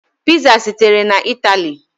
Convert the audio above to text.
Piza sitere na Italy.